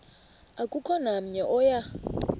akukho namnye oya